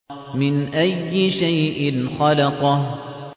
مِنْ أَيِّ شَيْءٍ خَلَقَهُ